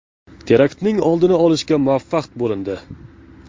Teraktning oldini olishga muvaffaq bo‘lindi.